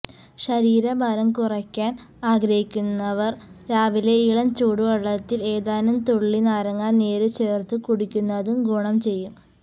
ശരീരഭാരം കുറയ്ക്കാൻ ആഗ്രഹിക്കുന്നവര് രാവിലെ ഇളം ചൂടുവെള്ളത്തില് ഏതാനും തുള്ളി നാരങ്ങാനീര് ചേർത്തു കുടിക്കുന്നതും ഗുണം ചെയ്യും